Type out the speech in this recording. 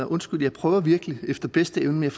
undskyld jeg prøver virkelig efter bedste evne men